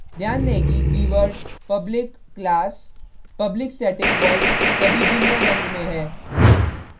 ध्यान दें कि keyword public class public static void सभी भिन्न रंग में है